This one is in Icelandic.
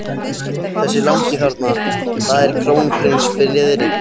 Þessi langi þarna- það er krónprins Friðrik.